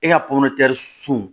E ka pomotɛri su